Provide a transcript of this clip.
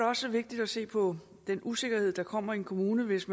også vigtigt at se på den usikkerhed der kommer i en kommune hvis